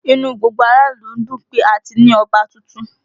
Inú gbogbo ará ìlú ń dùn pé a ti ní Ọba tuntun